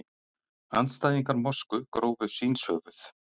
Andstæðingar mosku grófu svínshöfuð